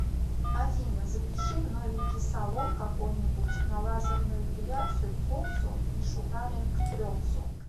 афина запиши в новенький салон какой нибудь на лазерную эпиляцию двух зон и шугаринг трех зон